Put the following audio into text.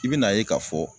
I bɛna ye k'a fɔ